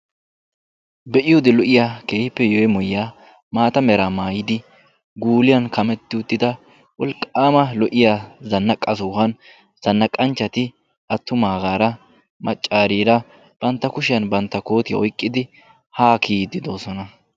be'iyoodi lo''iya keehippe yemmoyiyyaa maata meraa maayidi guuliyan kametti uttida wolqqaama lo''iya zannaqqa sohuwan zannaqqanchchati attumaagaara maccaariira bantta kushiyan bantta kootiya oyqqidi haa kiyiddidoosona